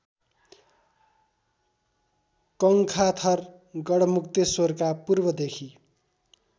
कङ्खाथर गढमुक्तेश्रवरका पूर्वदेखि